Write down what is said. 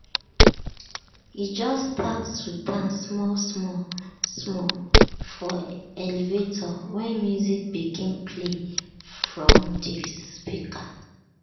e just start to dance small small small for elevator when music begin play from de speaker.